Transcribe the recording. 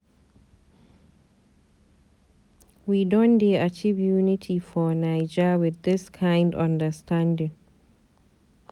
We don dey achieve unity for naija wit dis kind understanding.